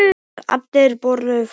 Þegar allir voru farnir.